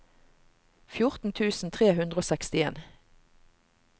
fjorten tusen tre hundre og sekstien